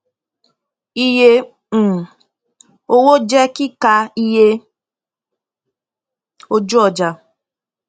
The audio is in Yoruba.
iye um owó jẹ kíkà iye ojúọjà